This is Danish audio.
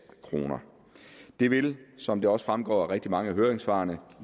kroner det vil som det også fremgår af rigtig mange af høringssvarene